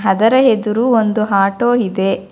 ಅದರ ಎದುರು ಒಂದು ಆಟೋ ಇದೆ.